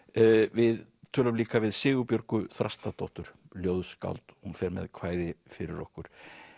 við tölum líka við Sigurbjörgu Þrastardóttur ljóðskáld hún fer með kvæði fyrir okkur